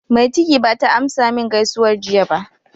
Mai ciki bata amsa min gaisuwar jiya ba.